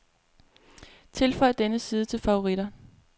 Tilføj denne side til favoritter.